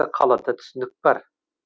қалада түсінік бар